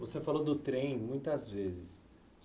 Você falou do trem muitas vezes.